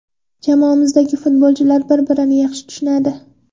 Jamoamizdagi futbolchilar bir-birini yaxshi tushunadi.